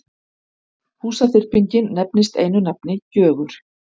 Húsaþyrpingin nefnist einu nafni Gjögur.